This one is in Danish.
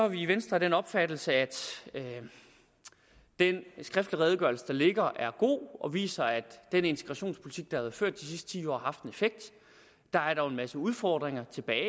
vi i venstre af den opfattelse at den skriftlige redegørelse der ligger er god viser at den integrationspolitik været ført de sidste ti år har haft en effekt der er dog en masse udfordringer tilbage